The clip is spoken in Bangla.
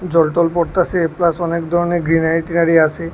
জলটল পড়তাছে প্লাস অনেক ধরনের গ্রিনারী ট্রিনারী আছে।